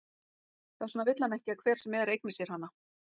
Þess vegna vill hann ekki að hver sem er eigni sér hana.